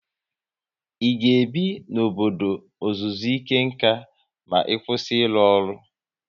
I ga ebi n'obodo ọzụzụ ike nkà ma ị kwụsị ịrụ ọrụ?